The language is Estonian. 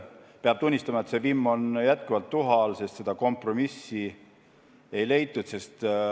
Peab tunnistama, et see vimm on jätkuvalt tuha all, sest seda kompromissi ei leitud.